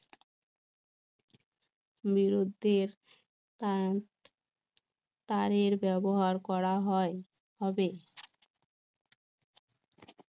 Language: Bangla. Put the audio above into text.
বিরুদ্ধের তারের ব্যবহার করা হয় হবে